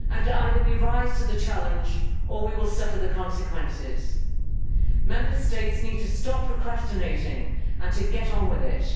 Either we rise to that challenge or we will suffer the consequences. Member States need to stop procrastinating and get on with it.